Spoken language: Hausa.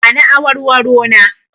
Ba ni awarwaro na!